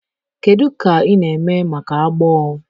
Kedu ka ị na-eme maka agbọọ